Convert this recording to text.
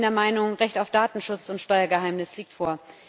Ich bin der Meinung, das Recht auf Datenschutz und Steuergeheimnis geht vor.